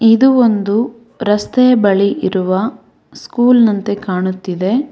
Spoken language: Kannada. ಇದು ಒಂದು ರಸ್ತೆಯ ಬಳಿ ಇರುವ ಸ್ಕೂಲ್ ನಂತೆ ಕಾಣುತ್ತಿದೆ.